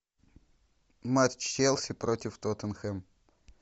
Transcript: матч челси против тоттенхэм